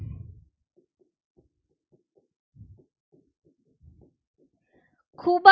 ખૂબ જ